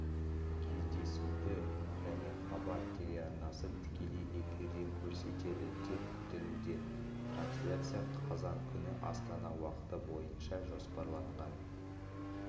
кездесуді және хабар телеарнасы тікелей эфирден көрсетеді деп күтілуде трансляция қазан күні астана уақыты бойынша жоспарланған